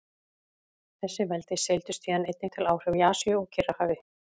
Þessi veldi seildust síðan einnig til áhrifa í Asíu og Kyrrahafi.